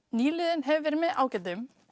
nýliðun hefur verið með ágætum